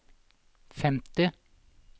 femti